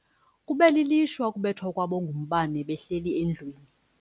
Kube lilishwa ukubethwa kwabo ngumbane behleli endlwini.